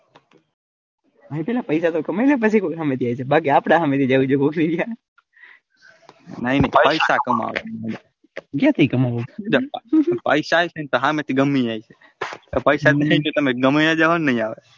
ભાઈ થોડા પૈસા તો કમાઈ લે પછી કોઈક હમે થી આવશે બાકી આપડે હમે થી જવું પડશે નઈ પૈસા કમાવા ક્યાંથી કમાવા જ પૈસા હમે થી ગમેતે આવી જાય પૈસા નાઈ હોય તો ગામેહે જાહો તો નાઈ આવે.